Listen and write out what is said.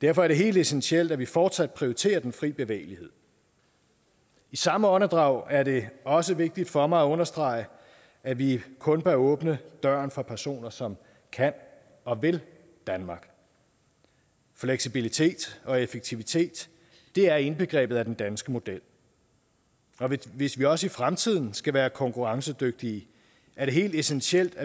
derfor er det helt essentielt at vi fortsat prioriterer den fri bevægelighed i samme åndedrag er det også vigtigt for mig at understrege at vi kun bør åbne døren for personer som kan og vil danmark fleksibilitet og effektivitet er indbegrebet af den danske model og hvis vi også i fremtiden skal være konkurrencedygtige er det helt essentielt at